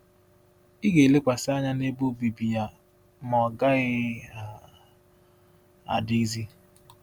Ị Ị ga-elekwasị anya n’ebe obibi ya, ma ọ gaghị um adịzi.”